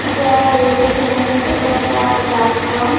এটা রেলটেশনের এটা একটা প্লাটফর্ম ।